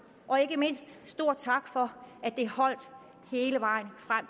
og ikke mindst stor tak for at det holdt hele vejen frem